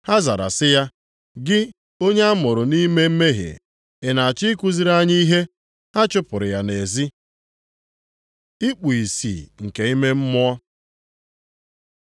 Ha zara sị ya, “Gị onye a mụrụ nʼime mmehie, ị na-achọ ikuziri anyị ihe?” Ha chụpụrụ ya nʼezi. Ikpu ìsì nke ime mmụọ